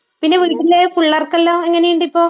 പിന്നെ, വീട്ടിലുള്ള പുള്ളേർക്കെല്ലാം എങ്ങനെയുണ്ട് ഇപ്പോൾ?